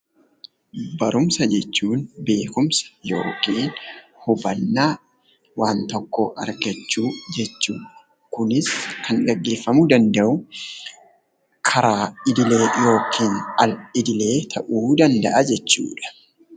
Barumsa jechuun beekumsa yookiin hubannaa waan tokkoo argachuu jechuudha. Kunis kan gaggeeffamuu danda'u karaa idilee yookiin al idilee ta'uu danda'a jechuudha.